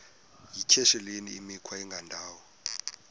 yityesheleni imikhwa engendawo